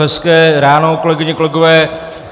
Hezké ráno, kolegyně, kolegové.